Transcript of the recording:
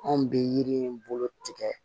Anw bɛ yiri bolo tigɛ